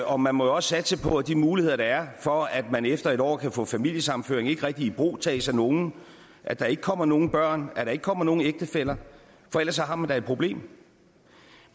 og man må jo også satse på at de muligheder der er for at man efter et år kan få familiesammenføring ikke rigtig ibrugtages af nogen at der ikke kommer nogen børn og at der ikke kommer nogen ægtefæller for ellers har man da et problem